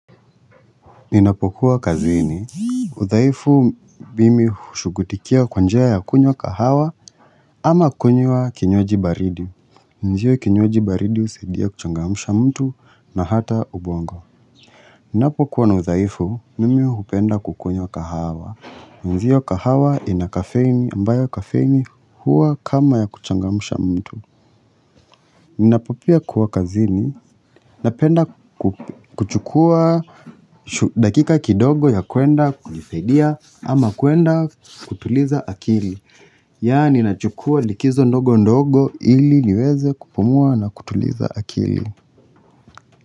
Ninapokuwa kazini, udhaifu mimi hushughulikia kwa njia ya kunywa kahawa ama kunywa kinywaji baridi. Ndiyo kinywaji baridi husaidia kuchangamsha mtu na hata ubongo. Ninapokuwa na udhaifu mimi hupenda kukunywa kahawa. Ndiyo, kahawa ina kafeini ambayo kafeini huwa kama ya kuchangamsha mtu. Ninapo pia kuwa kazini, napenda kuchukua dakika kidogo ya kuenda kujisadia ama kuenda kutuliza akili Yaani nachukuwa likizo ndogo ndogo ili niweze kupumua na kutuliza akili.